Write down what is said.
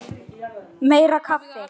Meira kaffi!